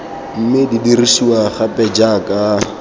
mme di dirisiwa gape jaaka